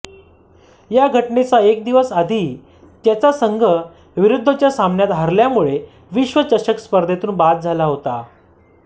या घटनेच्या एक दिवस आधी त्यांचा संघ विरूध्दच्या सामन्यात हरल्यामुळे विश्वचषक स्पर्धेतून बाद झाला होता